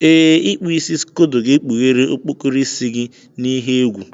Ee, ikpu Ịsị scodo ga-ekpughere okpokoro isi gị n'ihe egwu.